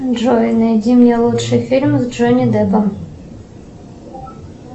джой найди мне лучший фильм с джонни деппом